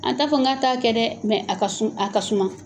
An ta fɔ k'a t'a kɛ dɛ mɛ a ka a ka suma